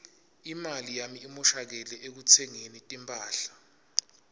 imali yami imoshakele ekutsengeni timphahla